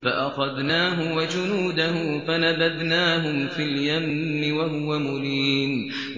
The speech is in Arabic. فَأَخَذْنَاهُ وَجُنُودَهُ فَنَبَذْنَاهُمْ فِي الْيَمِّ وَهُوَ مُلِيمٌ